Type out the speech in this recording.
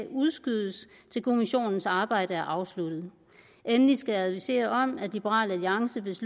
udskydes til kommissionens arbejde er afsluttet endelig skal jeg advisere om at liberal alliance hvis